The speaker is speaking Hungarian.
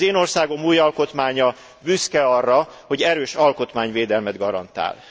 Az én országom új alkotmánya büszke arra, hogy erős alkotmányvédelmet garantál.